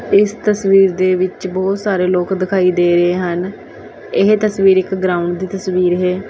ਇਸ ਤਸਵੀਰ ਦੇ ਵਿੱਚ ਬੋਹਤ ਸਾਰੇ ਲੋਕ ਦਿਖਾਈ ਦੇ ਰਹੇ ਹਨ ਇਹ ਤਸਵੀਰ ਇੱਕ ਗ੍ਰਾਉੰਡ ਦੀ ਤਸਵੀਰ ਹੈ।